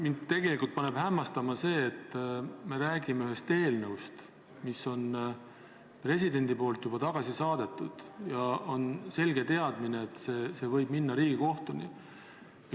Mind paneb tegelikult hämmastama see, et me räägime ühest eelnõust, mille president on juba tagasi saatnud ja mille kohta on olemas selge teadmine, et see võib minna Riigikohtusse.